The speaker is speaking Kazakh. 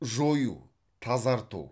жою тазарту